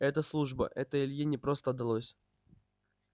это служба это илье непросто далось